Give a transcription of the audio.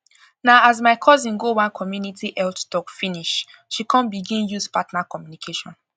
na as my cousin go one community health talk finish she come begin use partner communication